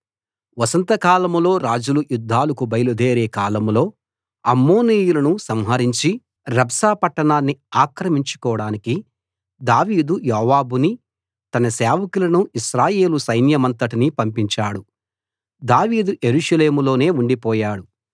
వసంత కాలంలో రాజులు యుద్ధాలకు బయలుదేరే కాలంలో అమ్మోనీయులను సంహరించి రబ్బా పట్టణాన్ని ఆక్రమించుకోడానికి దావీదు యోవాబునీ తన సేవకులనూ ఇశ్రాయేలు సైన్యమంతటినీ పంపించాడు దావీదు యెరూషలేములోనే ఉండిపోయాడు